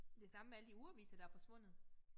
Det samme med alle de ugeaviser der forsvundet